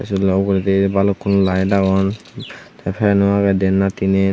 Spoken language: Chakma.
te salano ugoredi balukku light agon te fano agey diyan ba teenen.